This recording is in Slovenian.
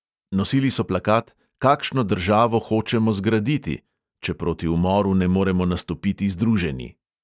Nosili so plakat: "kakšno državo hočemo zgraditi, če proti umoru ne moremo nastopiti združeni?"